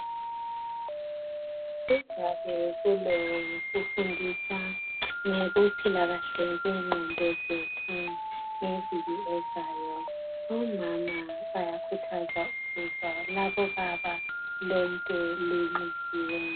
Kuzabe kulofundiswa kokuphilakahle ngenqondo zethu ngeviki ezayo omama liyakhuthazwa ukuba lize labobaba lonke linxusiwe.